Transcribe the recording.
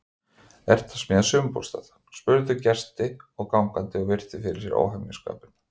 Ertu að smíða sumarbústað? spurðu gestir og gangandi og virtu fyrir sér óhemjuskapinn.